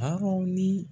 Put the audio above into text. Arɔn ni